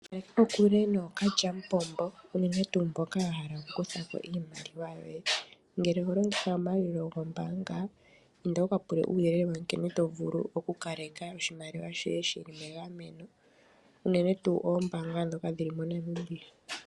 Kala kokule nookalyamupombo unene tuu mboka yahala oku kutha po iimaliwa yoye. Ngele oho longitha omayalulo gombaanga inda wuka pule uuyelele nkene to vulu oku kaleka oshimaliwa shoye shili megameno, unene tuu oombaanga dhoka dhili moNamibia.